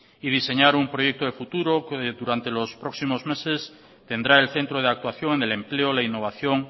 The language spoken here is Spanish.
y diseñar un proyecto de futuro que durante los próximos meses tendrá el centro de actuación en el empleo la innovación